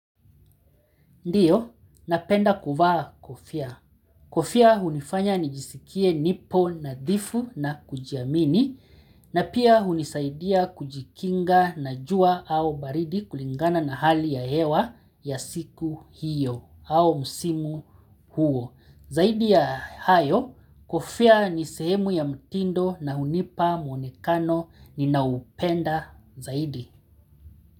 Ndiyo, napenda kuvaa kofia. Kofia hunifanya nijisikie nipo nadhifu na kujiamini na pia hunisaidia kujikinga na jua au baridi kulingana na hali ya hewa ya siku hiyo au msimu huo. Zaidi ya hayo, kofia ni sehemu ya mtindo na hunipa mwonekano ninao upenda zaidi.